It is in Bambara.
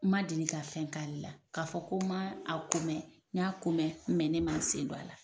N ma deli ka fɛn k'ale la k'a fɔ ko ma a ko mɛn n y'a ko mɛn ne ma n sen don a la.